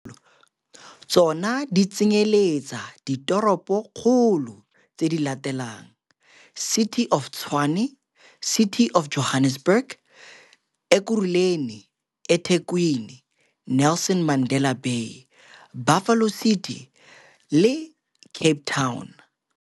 Tsona di tsenyeletsa ditoropokgolo tse di latelang - City of Tshwane City of Johannesburg Ekurhuleni eThekwini Nelson Mandela Bay Buffalo City le Cape Town.